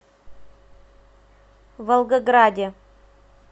волгограде